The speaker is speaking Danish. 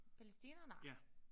Palæstina? Nej